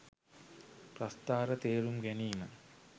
ප්‍රස්ථාර තේරුම් ගැනීම